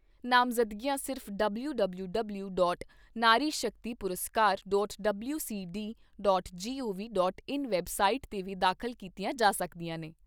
ਨਾਮਜ਼ਦਗੀਆਂ ਸਿਰਫ਼ WWW dot Nari Shakti Puraskar, WCD, gov dot in website 'ਤੇ ਵੀ ਦਾਖ਼ਲ ਕੀਤੀਆਂ ਜਾ ਸਕਦੀਆਂ ਨੇ।